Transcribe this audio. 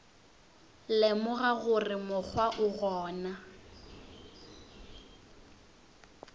lemoga gore mokgwa o gona